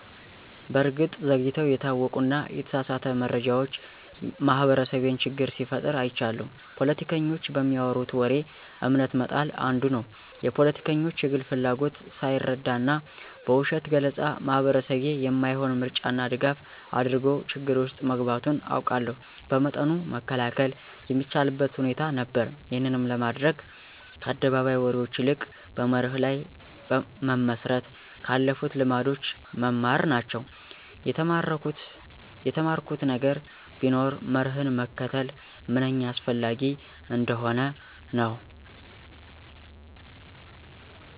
በእርግጥ ዘግይተው የታወቁና የተሳሳተ መረጃዎች ማህበረሰቤን ችግር ሲፈጥሩ አይቻለሁ። ፖለቲከኞች በሚያወሩት ወሬ እምነት መጣል አንዱ ነው። የፖለቲከኞች የግል ፍላጎትን ሳይረዳና በውሸት ገለፃ ማህበረሰቤ የማይሆን ምርጫና ድጋፍ አድርጎ ችግር ውስጥ መግባቱን አውቃለሁ። በመጠኑ መከላከል የሚቻልበት ሁኔታ ነበር። ይህንንም ለማድረግ ከአደባባይ ወሬዎች ይልቅ በመርህ ላይ መመስረት፣ ከአለፉልት ልምዶች መማር ናቸው። የተማርኩት ነገር ቢኖር መርህን መከተል ምንኛ አስፈላጊ እንደሆነ ነው።